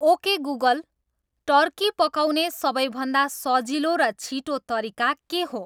okay Google turkey पकाउने सबैभन्दा सजिलो र छिटो तरिका के हो